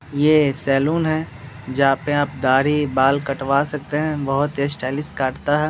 ये सलोन है जहाँ पे आप दाढ़ी बाल कटवा सकते हैं बहुत ही स्टाइलिश काटता हैं।